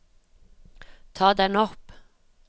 ta den opp